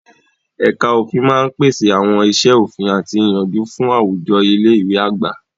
Ẹ̀ka òfin máa ń pèsè àwọn iṣẹ́ òfin àti ìyànjú fún àwùjọ ilé ìwé àgbà.